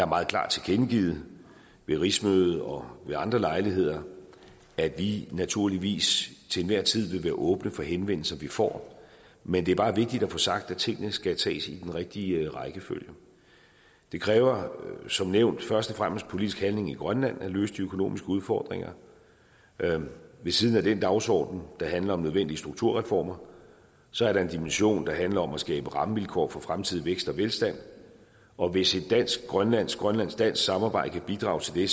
meget klart tilkendegivet ved rigsmødet og ved andre lejligheder at vi naturligvis til enhver tid vil være åbne for henvendelser vi får men det er bare vigtigt at få sagt at tingene skal tages i den rigtige rækkefølge det kræver som nævnt først og fremmest politisk handling i grønland at løse de økonomiske udfordringer ved siden af den dagsordenen der handler om nødvendige strukturreformer så er der en dimension der handler om at skabe rammevilkår for fremtidig vækst og velstand og hvis et dansk grønlandsk grønlandsk dansk samarbejde kan bidrage til det